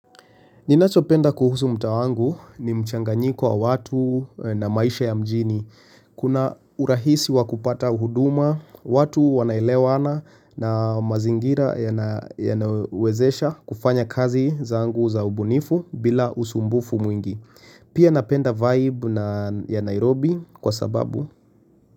Ninacho penda kuhusu mtaa wangu ni mchanganyiko wa watu na maisha ya mjini. Kuna urahisi wa kupata huduma, watu wanaelewana na mazingira yanawezesha kufanya kazi zangu za ubunifu bila usumbufu mwingi. Pia napenda vibe ya Nairobi kwa sababu.